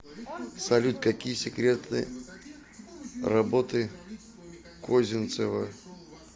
салют какие секреты работы козинцева